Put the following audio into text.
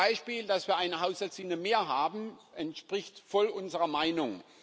Zum Beispiel, dass wir eine Haushaltslinie mehr haben, entspricht voll unserer Meinung.